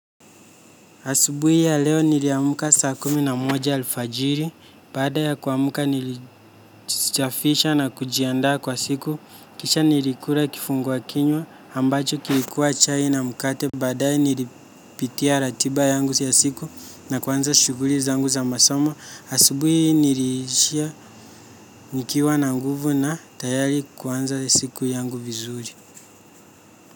Asubuhi ya leo niliamka saa kumi na moja alfajiri, baadaya kuamka nilijisafisha na kujiandaa kwa siku, kisha nilikula kifungua kinywa, ambacho kilikuwa chai na mkate, badae nilipitia ratiba yangu ya siku na kuanza shughuli zangu za masomo, asubuhi hii niliishia nikiwa na nguvu na tayari kuanza siku yangu vizuri.